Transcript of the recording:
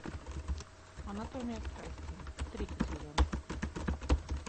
анатомия страсти третий сезон